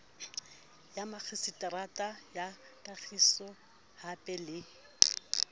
ya makgiseterata ya kagisohape le